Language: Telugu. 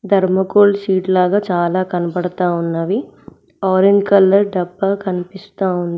ధర్మకోల్ షీట్ లాగా చాలా కనపడతా ఉన్నవి ఆరంజ్ కలర్ డబ్బా కనిపిస్తోంది.